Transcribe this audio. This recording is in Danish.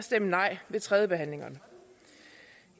at stemme nej ved tredjebehandlingerne